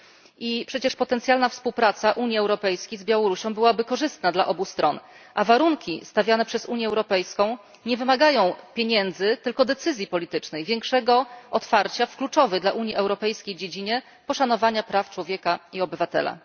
I przecież potencjalna współpraca Unii Europejskiej z Białorusią byłaby korzystna dla obu stron, a warunki stawiane przez Unię Europejską nie wymagają pieniędzy, tylko decyzji politycznej, większego otwarcia w kluczowej dla Unii Europejskiej dziedzinie poszanowania praw człowieka i obywatela.